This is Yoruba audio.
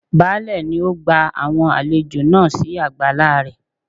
Baálẹ̀ nì ó gba àwọn àlejò náà si àgbàlá rẹ̀